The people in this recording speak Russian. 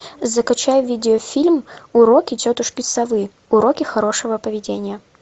закачай видеофильм уроки тетушки совы уроки хорошего поведения